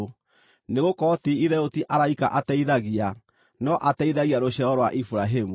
Nĩgũkorwo ti-itherũ ti araika ateithagia, no ateithagia rũciaro rwa Iburahĩmu.